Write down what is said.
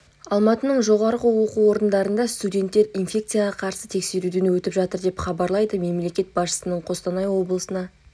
алматының жоғары оқу орындарында студенттер инфекцияға қарсы тексеруден өтіп жатыр деп хабарлайды мемлекет басшысының қостанай облысына